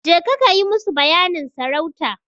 Jeka kayi musu bayanin sarauta.